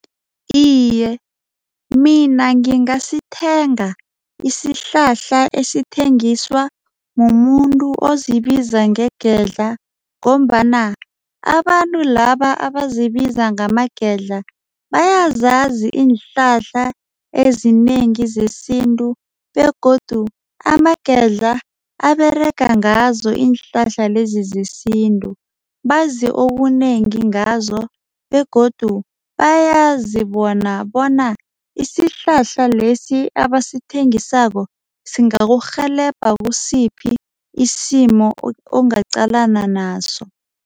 Iye, mina ngingasithenga isihlahla esithengiswa mumuntu ozibiza ngegedla. Ngombana abantu laba abazibiza ngamagedla bayazazi iinhlahla ezinengi zesintu begodu amagedla aberega ngazo iinhlahla lezi zesintu. Bazi okunengi ngazo begodu bayazibona bona isihlahla lesi abasathengisako singakurhelebha kisiphi isimo ongaqalana naso.